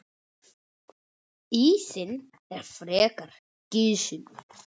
Ísinn er frekar gisinn.